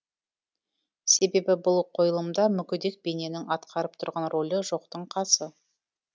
себебі бұл қойылымда мүгедек бейненің атқарып тұрған рөлі жоқтың қасы